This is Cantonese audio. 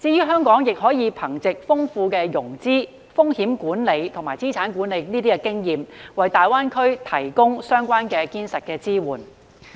香港亦可以憑藉豐富的融資、風險管埋及資產管理經驗，為大灣區提供堅實支援。